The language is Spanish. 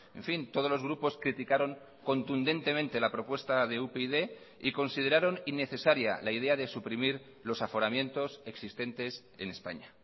en fin todos los grupos criticaron contundentemente la propuesta de upyd y consideraron innecesaria la idea de suprimir los aforamientos existentes en españa